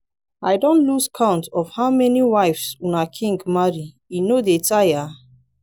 i don lose count of how many wives una king marry e no dey tire?